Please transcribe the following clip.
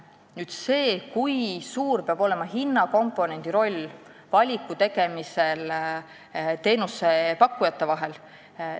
Nüüd see küsimus, kui suur peab olema hinnakomponendi roll teenusepakkujate vahel valides.